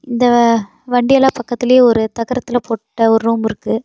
இந்த வண்டியல்லா பக்கத்துலயே ஒரு தகரத்துல போட்ட ஒரு ரூம் இருக்கு.